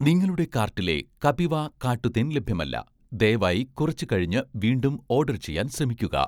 നിങ്ങളുടെ കാർട്ടിലെ 'കപിവ' കാട്ടു തേൻ ലഭ്യമല്ല, ദയവായി കുറച്ച് കഴിഞ്ഞ് വീണ്ടും ഓഡർ ചെയ്യാൻ ശ്രമിക്കുക